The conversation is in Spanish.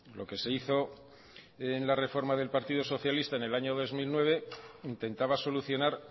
lo que se hizo en la reforma del partido socialista en el año dos mil nueve intentaba solucionar